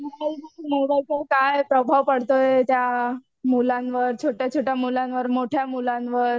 मोबाईलचा काय प्रभाव पडतोय त्या मुलांवर छोट्या छोट्या मुलांवर, मोठ्या मुलांवर.